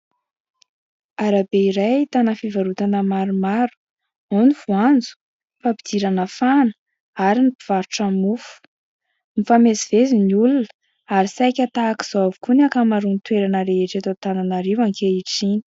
Arabe iray ahitana fivarotana maromaro ao ny voanjo, fampidirana fahana ary ny mpivarotra mofo. Mifamezivezy ny olona ary saika tahaka izao avokoa ny ankamaroan'ny toerana rehetra eto Antananarivo ankehitriny.